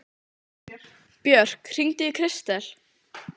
Björk, hringdu í Kristel.